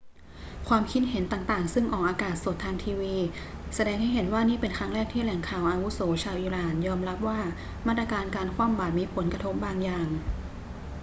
ความคิดเห็นต่าง ๆ ซึ่งออกอากาศสดทางทีวี แสดงให้เห็นว่านี่เป็นครั้งแรกที่แหล่งข่าวอาวุโสชาวอิหร่านยอมรับว่ามาตรการคว่ำบาตรมีผลกระทบบางอย่าง